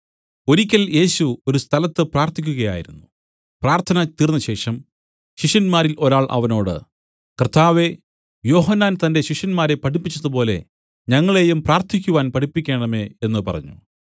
ഒരിക്കൽ യേശു ഒരു സ്ഥലത്ത് പ്രാർത്ഥിക്കുകയായിരുന്നു പ്രാർത്ഥന തീർന്നശേഷം ശിഷ്യന്മാരിൽ ഒരാൾ അവനോട് കർത്താവേ യോഹന്നാൻ തന്റെ ശിഷ്യന്മാരെ പഠിപ്പിച്ചതുപോലെ ഞങ്ങളെയും പ്രാർത്ഥിക്കുവാൻ പഠിപ്പിക്കേണമേ എന്നു പറഞ്ഞു